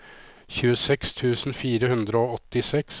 tjueseks tusen fire hundre og åttiseks